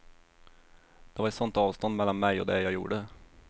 Det var ett sånt avstånd mellan mig och det jag gjorde.